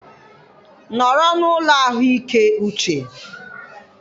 nọrọ n'ụlọ ahụike uche.